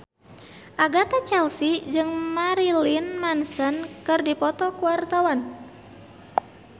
Agatha Chelsea jeung Marilyn Manson keur dipoto ku wartawan